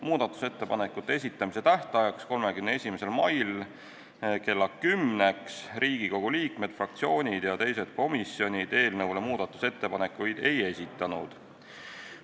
Muudatusettepanekute esitamise tähtajaks, 31. maiks kella 10-ks Riigikogu liikmed, fraktsioonid ja teised komisjonid muudatusettepanekuid ei esitanud.